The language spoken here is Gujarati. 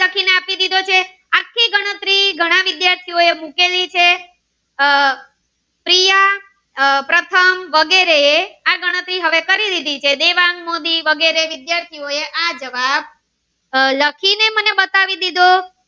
વિદ્યાર્થી નો મૂકી દીધી છે આહ પ્રિય આહ પ્રથમ વગેરે આ ગણતરી હવે કરી લીધી છે તે દેવાંગ મોદી વગેરે વિદ્યાર્થી નો એ આ જવાબ લખી ને મને બતાવી દીધો.